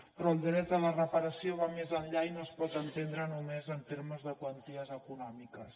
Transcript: però el dret a la reparació va més enllà i no es pot entendre només en termes de quanties econòmiques